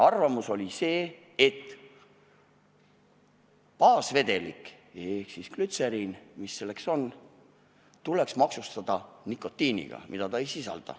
Arvamus oli selline, et ka baasvedelikku ehk glütseriini, mida baasvedelikuna kasutatakse, tuleks maksustada nikotiini tõttu, kuigi vedelik ise seda ei sisalda.